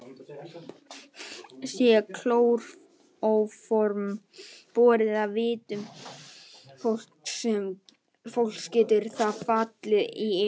Sé klóróform borið að vitum fólks getur það fallið í yfirlið.